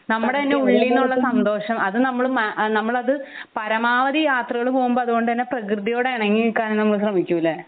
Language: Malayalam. നമ്മുടെ തന്നെ ഉള്ളിൽ നിന്നുള്ള സന്തോഷം അത് നമ്മൾ നമ്മൾ അത് പരമാവധി യാത്രകൾ പോകുമ്പോ അതുകൊണ്ട് തന്നെ പ്രകൃതിയോട് ഇണങ്ങി നിക്കാൻ നമ്മൾ ശ്രമിക്കൂലേ